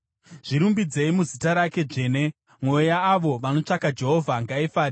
Zvirumbidzei muzita rake dzvene; mwoyo yaavo vanotsvaka Jehovha ngaifare.